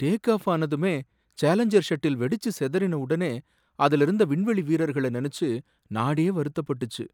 Take-off ஆனதுமே Challenger shuttle வெடிச்சு சிதறின உடனே அதுல இறந்த விண்வெளி வீரர்கள நெனச்சு நாடே வருத்தப்பட்டுச்சு.